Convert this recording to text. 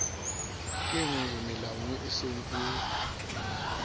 kenngwe melaong e nseng e